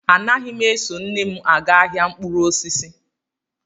Anaghị m eso nne m aga ahịa mkpụrụ osisi